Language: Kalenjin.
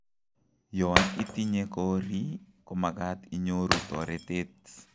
Yon itinye korii komagat inyoruu toretet